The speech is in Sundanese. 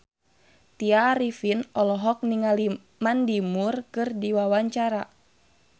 Tya Arifin olohok ningali Mandy Moore keur diwawancara